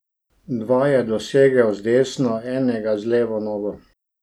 Dva je dosegel z desno, enega z levo nogo.